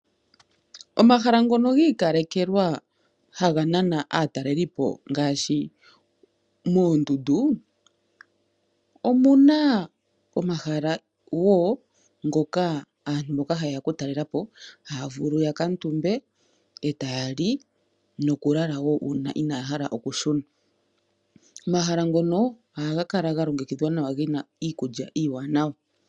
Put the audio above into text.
Omahala ngono gi ikalekelwa haga nana aatalelipo ngaashi moondundu. Omuna omahala woo ngoka aantu mboka haye ya okutalela po haa vulu oku kuutumba, e taa li nokulala wo uuna inaaya hala okushuna. Omahala ngono ohaga kala ga longekidhwa nawa gena iikulya Iiwanawa.